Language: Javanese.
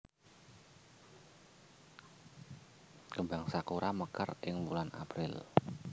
Kembang sakura mekar ing wulan April